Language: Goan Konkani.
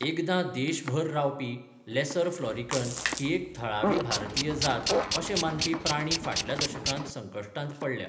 एकदां देशभर रावपी लेसर फ्लॉरिकन ही एक थळावी भारतीय जात अशें मानपी प्राणी फाटल्या दशकांत संकश्टांत पडल्या.